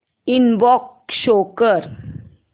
inbox show कर